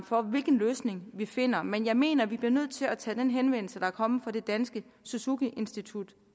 for hvilken løsning vi finder men jeg mener at vi bliver nødt til at tage den henvendelse der er kommet fra det danske suzuki institut